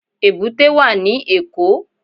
Èbúté wà ní Èkó.